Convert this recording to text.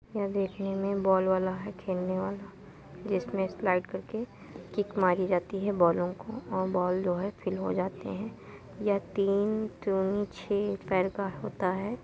यह देखने में बॉल वाला है खेलने वाला जिसमे स्लाइड करके मारी जातीं हैं बॉलों को और बॉल जो हैं फिल हो जातें हैं यह तीन दुनि छेह पैर का होता है |